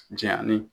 Jɛnyani